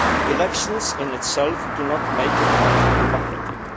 Elections in themselves do not make a country democratic.